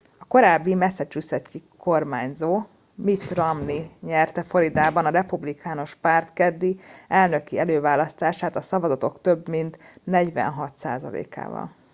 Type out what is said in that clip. a korábbi massachusettsi kormányzó mitt romney nyerte floridában a republikánus párt keddi elnöki előválasztását a szavazatok több mint 46 százalékával